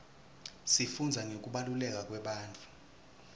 sifundza ngekubaluleka kwebantfu